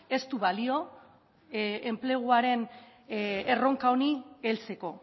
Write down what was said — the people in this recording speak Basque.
ez du balio enpleguaren erronka honi heltzeko